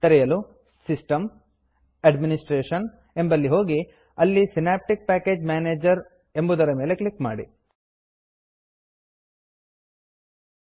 ತೆರೆಯಲು Systemಸಿಸ್ಟಮ್gtAdministrationಎಡ್ಮಿನಿಸ್ಟ್ರೇಷನ್ ಎಂಬಲ್ಲಿ ಹೋಗಿ ಅಲ್ಲಿ synaptic package synaptic package manager ಎಂಬುದರ ಮೇಲೆ ಒತ್ತಿ